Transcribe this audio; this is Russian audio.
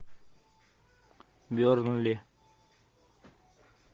бернли